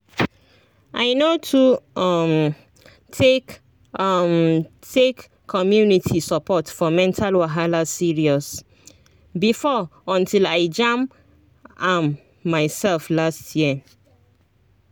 i no too um take um take community support for mental wahala serious before until i jam am myself last year